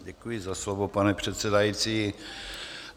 Děkuji za slovo, pane předsedající.